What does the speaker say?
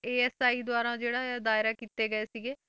ASI ਦੁਆਰਾ ਜਿਹੜਾ ਇਹ ਦਾਇਰਾ ਕੀਤੇ ਗਏ ਸੀਗੇ,